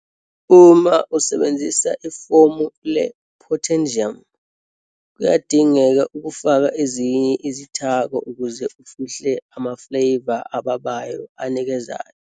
Uma usebenzisa ifomu le-potassium, kuyadingeka ukufaka ezinye izithako ukuze ufihle ama-flavour ababayo anikezayo.